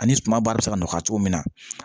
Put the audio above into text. Ani suma ba bɛ se ka nɔgɔya cogo min na